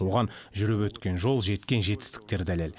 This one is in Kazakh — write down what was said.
оған жүріп өткен жол жеткен жетістіктер дәлел